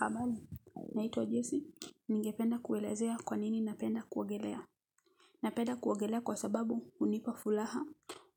Habali naitwa adyesi ningependa kuelezea kwanini napenda kuogelea napenda kuogelea kwasababu unipafulaha